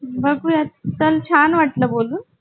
बगूया चाल खूप छान वाटलं बोलून